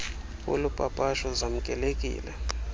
wolu papasho zamkelekile